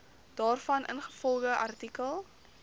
daarvan ingevolge artikel